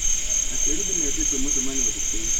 Aciari nĩmetĩtwo mũcemanio cukuru